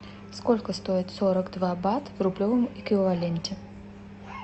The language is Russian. сколько стоит сорок два бат в рублевом эквиваленте